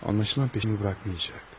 Anlaşılan, yaxamı buraxmayacaq.